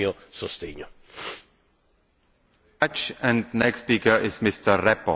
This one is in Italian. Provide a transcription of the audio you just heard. Ritengo che questa relazione vada proprio in questa direzione e per questo ho deciso di darle il mio sostegno.